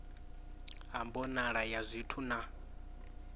ha mbonalo ya zwithu na